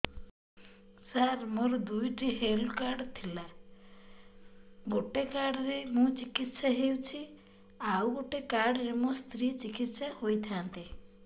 ସାର ମୋର ଦୁଇଟି health card ଥିଲା ଗୋଟେ କାର୍ଡ ରେ ମୁଁ ଚିକିତ୍ସା ହେଉଛି ଆଉ ଗୋଟେ କାର୍ଡ ରେ ମୋ ସ୍ତ୍ରୀ ଚିକିତ୍ସା ହୋଇଥାନ୍ତେ